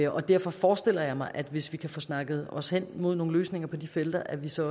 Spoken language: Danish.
og derfor forestiller jeg mig hvis vi kan få snakket os hen imod nogle løsninger på de felter at vi så